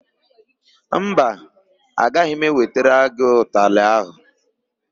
Mba, agaghị m ewetara gị ụtalị áhụ̀.